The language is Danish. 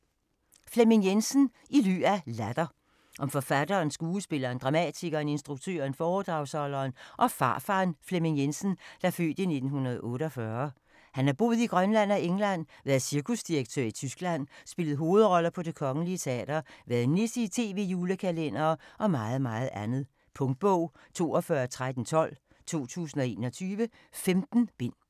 Jensen, Flemming: I ly af latter Om forfatteren, skuespilleren, dramatikeren, instruktøren, foredragsholderen og farfaren Flemming Jensen (f. 1948). Han har boet i Grønland og England, været cirkusdirektør i Tyskland, spillet hovedroller på Det Kongelige Teater, været nisse i tv-julekalendere - og meget andet. Punktbog 421312 2021. 15 bind.